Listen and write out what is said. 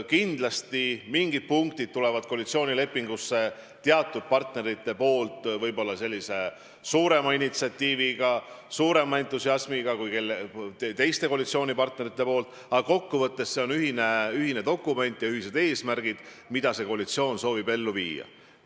Kindlasti mingid punktid esitavad partnerid koalitsioonilepingusse suurema initsiatiiviga, suurema entusiasmiga, kui teised koalitsioonipartnerid neisse suhtuvad, aga kokkuvõttes see on ühine dokument ja ühised eesmärgid, mida koalitsioon soovib ellu viia.